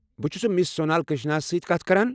بہٕ چھُس مِس سونل کرٛشنا ہس سۭتۍ کتھ کران؟